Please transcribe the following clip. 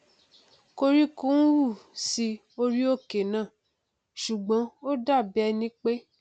koríko hù sí orí òkè náà ṣùgbọn ó dàbí ẹni pé